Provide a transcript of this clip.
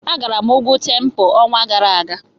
Agara m ugwu Tempo n'ọnwa gara aga.